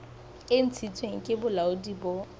e ntshitsweng ke bolaodi bo